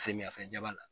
Samiyɛfɛba la